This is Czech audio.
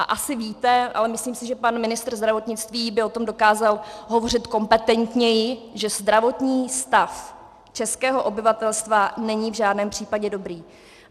A asi víte, ale myslím si, že pan ministr zdravotnictví by o tom dokázal hovořit kompetentněji, že zdravotní stav českého obyvatelstva není v žádném případě dobrý.